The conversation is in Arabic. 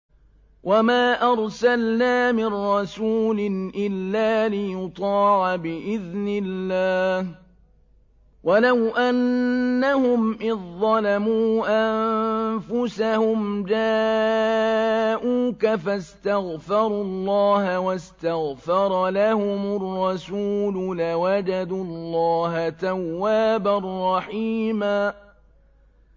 وَمَا أَرْسَلْنَا مِن رَّسُولٍ إِلَّا لِيُطَاعَ بِإِذْنِ اللَّهِ ۚ وَلَوْ أَنَّهُمْ إِذ ظَّلَمُوا أَنفُسَهُمْ جَاءُوكَ فَاسْتَغْفَرُوا اللَّهَ وَاسْتَغْفَرَ لَهُمُ الرَّسُولُ لَوَجَدُوا اللَّهَ تَوَّابًا رَّحِيمًا